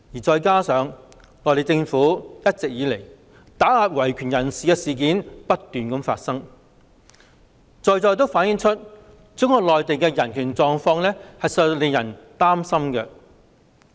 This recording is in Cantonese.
再加上內地政府打壓維權人士的事件不斷，正正反映中國內地的人權狀況令人擔心。